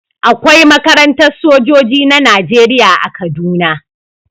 Akwai makarantar sojoji na Najeriya a Kaduna.